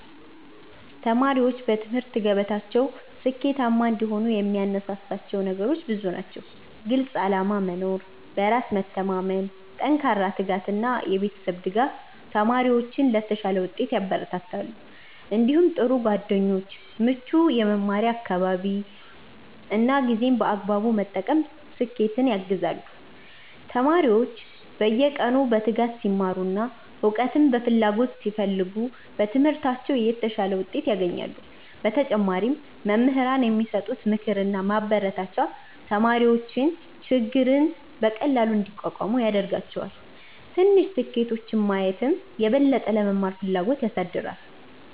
1ተማሪዎች በትምህርት ገበታቸው ስኬታማ እንዲሆኑ የሚያነሳሳቸው ነገሮች ብዙ ናቸው። ግልፅ ዓላማ መኖር፣ በራስ መተማመን፣ ጠንካራ ትጋት እና የቤተሰብ ድጋፍ ተማሪዎችን ለተሻለ ውጤት ያበረታታሉ። እንዲሁም ጥሩ ጓደኞች፣ ምቹ የመማር አካባቢ እና ጊዜን በአግባቡ መጠቀም ስኬትን ያግዛሉ። ተማሪዎች በየቀኑ በትጋት ሲማሩ እና እውቀትን በፍላጎት ሲፈልጉ በትምህርታቸው የተሻለ ውጤት ያገኛሉ። በተጨማሪም መምህራን የሚሰጡት ምክርና ማበረታቻ ተማሪዎች ችግርን በቀላሉ እንዲቋቋሙ ያደርጋቸዋል። ትንሽ ስኬቶችን ማየትም የበለጠ ለመማር ፍላጎት ያሳድጋል።